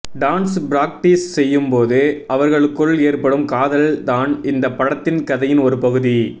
dance practice செய்யும்போது அவர்களுக்குள் ஏற்படும் காதல் தான் இந்த படத்தின் கதையின் ஒரு பகுதி